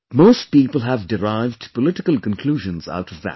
Most people have derived political conclusions out of that